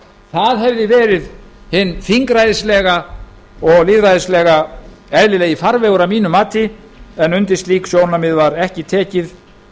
það hefði verið hin þingræðislegi og lýðræðislega eðlilegi farvegur að mínu mati en undir slík sjónarmið var ekki tekið